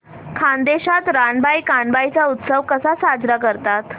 खानदेशात रानबाई कानबाई चा उत्सव कसा साजरा करतात